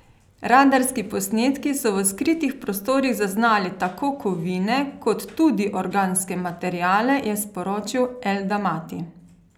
Radarski posnetki so v skritih prostorih zaznali tako kovine kot tudi organske materiale, je sporočil El Damati.